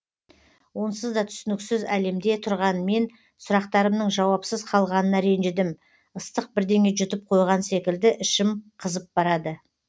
онсыз да түсініксіз әлемде тұрған мен сұрақтарымның жауапсыз қалғанына ренжідім ыстық бірдеңе жұтып қойған секілді ішім қызып барады